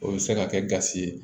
O bɛ se ka kɛ gasi ye